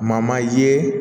Ma manje